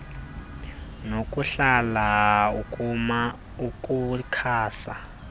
nokuhlala ukuma ukukhasa